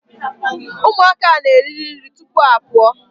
Ụmụaka a na-eriri nri tupu ha a pụọ.